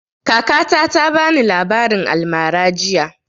Kakata ta bani labarin almara jiya